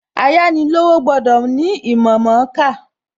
Ayánilówó gbọ́dọ̀ ní ìmọ̀ mọ̀ọ́kà.